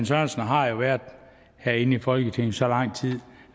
sørensen har jo været herinde i folketinget i så lang tid